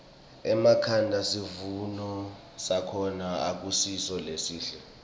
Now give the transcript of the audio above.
enkhangala sivuno sakhona akusiso lesihle